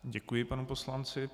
Děkuji panu poslanci.